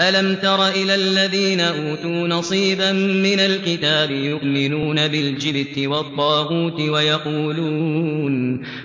أَلَمْ تَرَ إِلَى الَّذِينَ أُوتُوا نَصِيبًا مِّنَ الْكِتَابِ يُؤْمِنُونَ بِالْجِبْتِ وَالطَّاغُوتِ